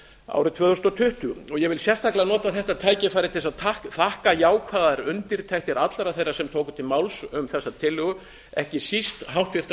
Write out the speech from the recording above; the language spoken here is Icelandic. árið tvö þúsund tuttugu ég vil sérstaklega nota þetta tækifæri til að þakka jákvæðar undirtektir allra þeirra sem tóku til máls um þessa tillögu ekki síst háttvirtra